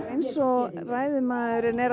eins og ræðumaðurinn er